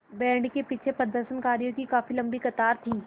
band के पीछे प्रदर्शनकारियों की काफ़ी लम्बी कतार थी